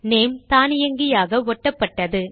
name தானியங்கியாக ஒட்டப்பட்டது